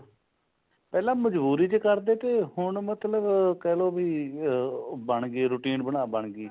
ਪਹਿਲਾ ਮਜਬੂਰੀ ਚ ਕਰਦੇ ਥੇ ਹੁਣ ਮਤਲਬ ਕਹਿਲੋ ਵੀ ਅਹਹ ਬਣ ਗਏ routine ਅਹ routine ਬਣ ਗਈ